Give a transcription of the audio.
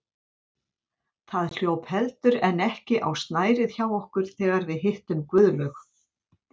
Það hljóp heldur en ekki á snærið hjá okkur þegar við hittum Guðlaug